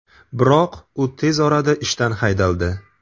Biroq u tez orada ishdan haydaldi.